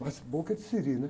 Mas boca é de siri, né?